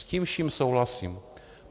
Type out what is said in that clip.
S tím vším souhlasím.